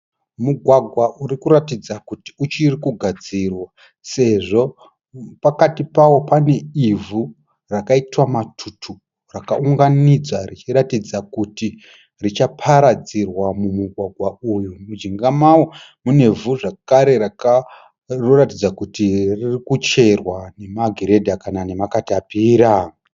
Mugwagwa urikuratidza kuti uchiri kugadzira sezvo pakati pawo paine ivhu rakaita matutu rakaunganidzwa richiratidza kuti richaparadzirwa mumugwagwa uyu. Mujinga mawo muneivhu zvakare rinoratidza kuti ririkucherwa nemagiredha kana nemakatapira.